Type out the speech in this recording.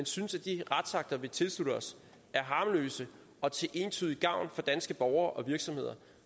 synes at de retsakter vi tilslutter os er harmløse og til entydig gavn for danske borgere og virksomheder